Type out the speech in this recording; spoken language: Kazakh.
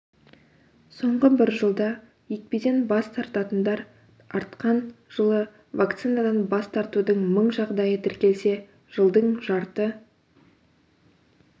соңғы бір жылда екпеден бас тартатындар артқан жылы вакцинадан бас тартудың мың жағдайы тіркелсе жылдың жарты